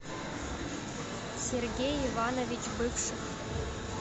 сергей иванович бывших